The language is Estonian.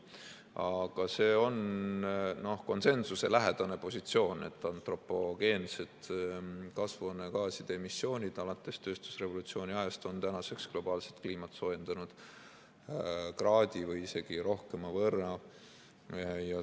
Aga see on konsensuselähedane positsioon, et antropogeensed kasvuhoonegaaside emissioonid alates tööstusrevolutsiooni ajast on tänaseks globaalset kliimat soojendanud kraadi või isegi rohkema võrra.